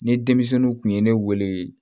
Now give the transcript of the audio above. Ni denmisɛnninw kun ye ne wele